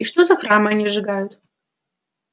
и что за храмы они сжигают